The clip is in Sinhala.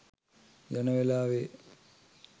යන වෙලාවේ.